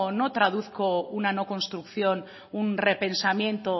no traduzco una no construcción un repensamiento